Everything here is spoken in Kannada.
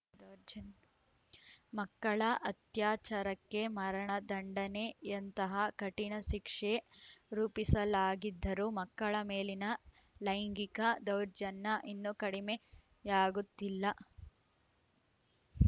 ಮಕ್ಕಳ ಅತ್ಯಾಚಾರಕ್ಕೆ ಮರಣ ದಂಡನೆಯಂತಹ ಕಠಿಣ ಶಿಕ್ಷೆ ರೂಪಿಸಲಾಗಿದ್ದರೂ ಮಕ್ಕಳ ಮೇಲಿನ ಲೈಂಗಿಕ ದೌರ್ಜನ್ಯ ಇನ್ನೂ ಕಡಿಮೆಯಾಗುತ್ತಿಲ್ಲ